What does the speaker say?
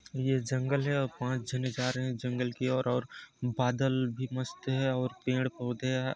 ये जंगल है और पाँच जने जा रहे है जंगल की और और बादल भी मस्त है और पेड़ पौधे है ।